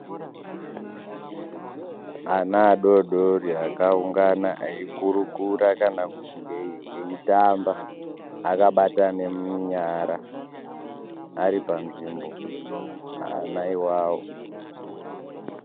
Ana adodori akaungana eikurukura kana kuti aitamba akabatana munyara aripanzvimbo ana ivavo.